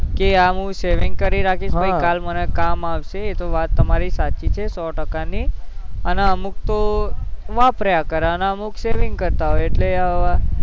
એકે આ હું saving કરીન રાખીશ પછી કાલ મને કામ આવશે એ વાત તમારી સાચી હે સૌ ટકા ની અને અમુક તો વપરાયા કરે અને અમુક saving કરતા હોય એટલે અવ